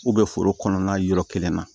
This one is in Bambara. foro kɔnɔna yɔrɔ kelen na